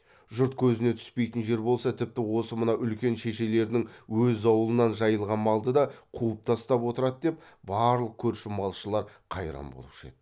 жұрт көзіне түспейтін жер болса тіпті осы мына үлкен шешелерінің өз аулынан жайылған малды да қуып тастап отырады деп барлық көрші малшылар қайран болушы еді